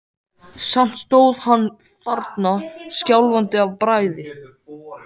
Samt stóð hann þarna skjálfandi af bræði.